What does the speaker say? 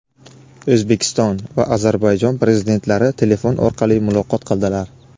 O‘zbekiston va Ozarbayjon Prezidentlari telefon orqali muloqot qildilar.